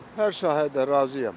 Hər sahədə razıyam.